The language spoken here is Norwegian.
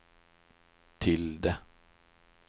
tilde